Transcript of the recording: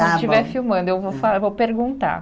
Quando estiver filmando, eu vou fa vou perguntar.